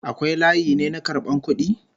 Akwai layi ne na karban kudi??